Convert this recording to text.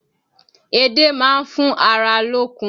Edé máa fún ara lókun